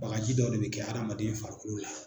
Bagaji dɔ de bɛ kɛ hadamaden farikolo la.